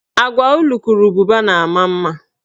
Agwa ulukurububa na ama mma.